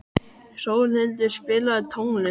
Sólhildur, spilaðu tónlist.